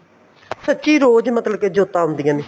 ਸੱਚੀ ਰੋਜ ਮਤਲਬ ਕੇ ਜੋਤਾਂ ਆਉਦੀਆਂ ਨੇ